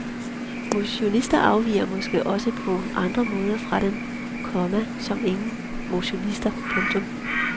Motionister afviger måske også på andre måder fra dem, komma som ikke motionerer. punktum